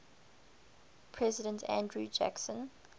president andrew jackson